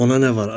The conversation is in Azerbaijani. Ona nə var?